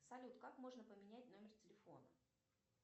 салют как можно поменять номер телефона